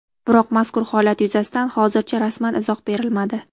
Biroq mazkur holat yuzasidan hozircha rasman izoh berilmadi.